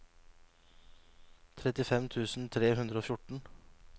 trettifem tusen tre hundre og fjorten